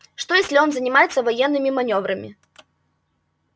что если он занимается военными манёврами